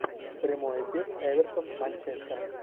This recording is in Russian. прямой эфир эвертон манчестер